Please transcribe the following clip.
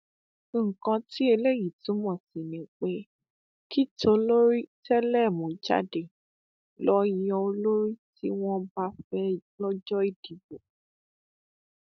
nǹkan tí eléyìí túmọ sí ni pé kí tolórí tẹlẹmú jáde lọọ yan olórí tí wọn bá fẹ lọjọ ìdìbò